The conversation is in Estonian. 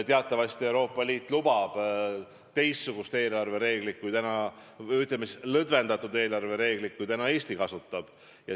Teatavasti lubab Euroopa Liit teistsugust, ütleme, lõdvemat eelarvereeglit, kui Eesti praegu kasutab.